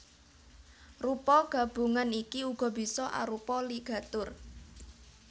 Rupa gabungan iki uga bisa arupa ligatur